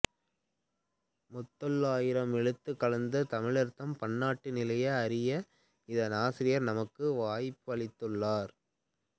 முத்தொள்ளாயிரம் எழுந்த காலத்துத் தமிழர்தம் பண்பாட்டு நிலையை அறிய அதன் ஆசிரியர் நமக்கு வாய்ப்பளித்துள்ளார்